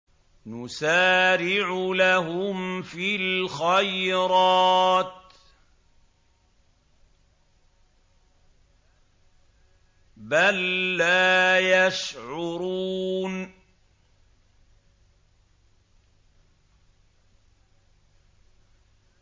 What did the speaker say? نُسَارِعُ لَهُمْ فِي الْخَيْرَاتِ ۚ بَل لَّا يَشْعُرُونَ